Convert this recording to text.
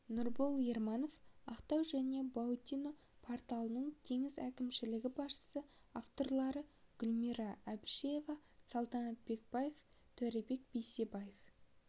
нұрбол ерманов ақтау және баутино порттарының теңіз әкімшілігі басшысы авторлары гүлмира әбішева саламат бекбаев төребек бейсебаев